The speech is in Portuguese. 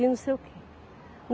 E eu não sei o quê.